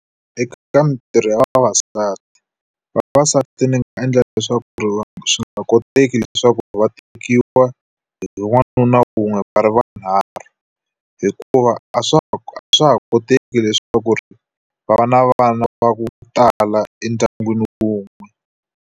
Eka ka mintirho ya vavasati, Vavasati ni nga endla leswaku ri swi nga koteki leswaku va tekiwa hi n'wanuna wun'we va ri vunharhu. Hikuva a swa ha a swa ha koteki leswaku ri va va na vana va ku tala endyangwini wun'we.